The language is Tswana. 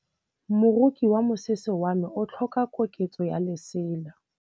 Moroki wa mosese wa me o tlhoka koketsô ya lesela.